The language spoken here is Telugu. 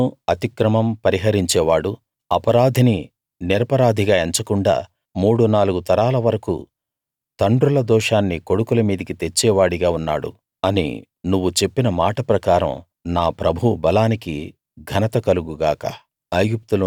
దోషం అతిక్రమం పరిహరించేవాడు అపరాధిని నిరపరాధిగా ఎంచకుండా మూడు నాలుగు తరాల వరకూ తండ్రుల దోషాన్ని కొడుకుల మీదికి తెచ్చే వాడిగా ఉన్నాడు అని నువ్వు చెప్పిన మాట ప్రకారం నా ప్రభువు బలానికి ఘనత కలుగు గాక